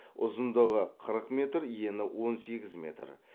ұзындығы қырық метр ені он сегіз метр